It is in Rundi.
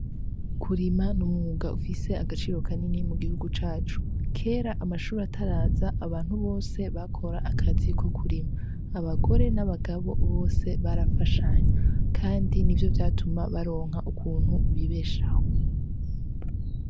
Kurima ni umwuga ufise agaciro kanini mu gihugu cacu. Kera amashure ataraza, abantu bose bakora akazi ko kurima. Abagore n’abagabo bose barafashanya kandi ni vyo vyatuma baronka ukuntu bibeshaho.